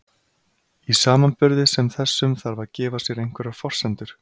Í samanburði sem þessum þarf að gefa sér einhverjar forsendur.